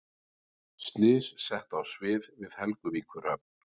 Slys sett á svið við Helguvíkurhöfn